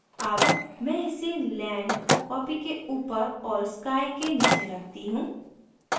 अब मैं इसे land copy के ऊपर और sky sky के नीचे रखती हूँ